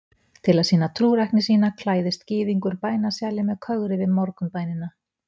Til að sýna trúrækni sína klæðist gyðingur bænasjali með kögri við morgunbænina.